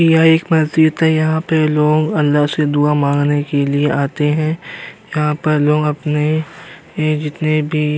यह एक मस्जिद है। यहां पे लोग अल्लाह से दुआ मांगने के लिए आते हैं। यहां पर लोग अपने ए जितने भी --